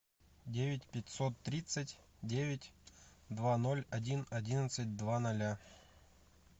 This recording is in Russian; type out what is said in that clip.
девять пятьсот тридцать девять два ноль один одиннадцать два ноля